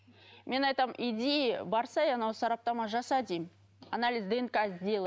мен айтамын иди барсайшы ана сараптама жаса деймін анализ днк сделай